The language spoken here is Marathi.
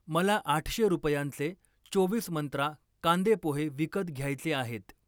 मला आठशे रुपयांचे चोवीस मंत्रा कांदे पोहे विकत घ्यायचे आहेत.